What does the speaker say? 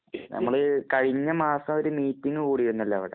നമ്മള് കഴിഞ്ഞ മാസം ഒരു മീറ്റിംഗ് കൂടിയിരുന്നല്ലോ അവിടെ.